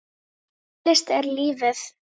Tónlist er lífið!